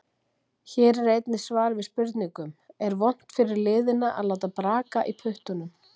Hér er einnig svar við spurningunum: Er vont fyrir liðina að láta braka í puttunum?